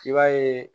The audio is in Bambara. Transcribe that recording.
I b'a ye